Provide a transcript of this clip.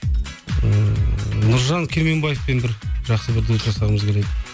ыыы нұржан керменбаевпен бір жақсы дуэт жасағымыз келеді